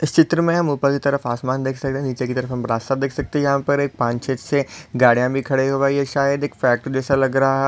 इस चित्र मे हम ऊपर की तरफ आसमान देख सकते नीचे की तरफ हम रास्ता देख सकते है यहा पर एक पाँच छह से गाड़िया भी खड़े हो गयी है शायद एक फैक्ट्री जैसा लग रहा--